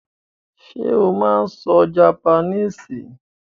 Sé o máa n so japaníìsì?